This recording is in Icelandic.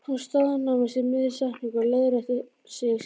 Hún staðnæmist í miðri setningunni og leiðréttir sig síðan